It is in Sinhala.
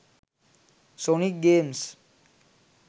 sonic games